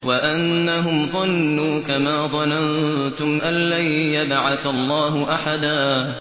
وَأَنَّهُمْ ظَنُّوا كَمَا ظَنَنتُمْ أَن لَّن يَبْعَثَ اللَّهُ أَحَدًا